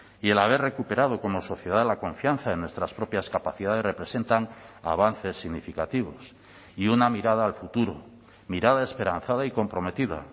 y el haber recuperado como sociedad la confianza en nuestras propias capacidades representan avances significativos y una mirada al futuro mirada esperanzada y comprometida